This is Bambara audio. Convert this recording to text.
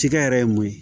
Cikɛ yɛrɛ ye mun ye